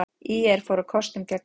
ÍR fór á kostum gegn KR